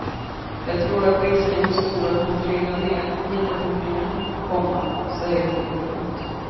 Jag tror att risken är stor att man trillar ner lika fort igen, komma säger hon. punkt